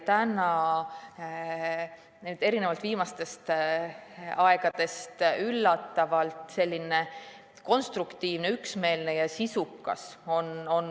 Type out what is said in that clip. Täna, erinevalt viimastest aegadest on see arutelu siin olnud üllatavalt konstruktiivne, üksmeelne ja sisukas.